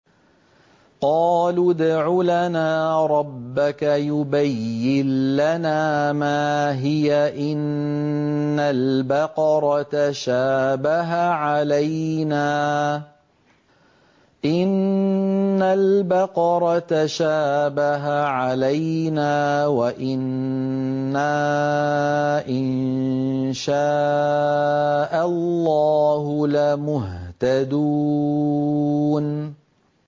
قَالُوا ادْعُ لَنَا رَبَّكَ يُبَيِّن لَّنَا مَا هِيَ إِنَّ الْبَقَرَ تَشَابَهَ عَلَيْنَا وَإِنَّا إِن شَاءَ اللَّهُ لَمُهْتَدُونَ